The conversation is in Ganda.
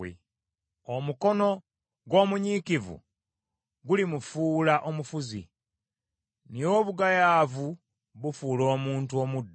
Omukono gw’omunyiikivu gulimufuula omufuzi, naye obugayaavu bufuula omuntu omuddu.